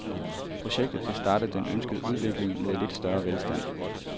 Projektet vil starte den ønskede udvikling mod lidt større velstand.